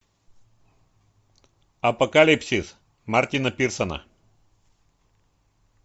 апокалипсис мартина пирсона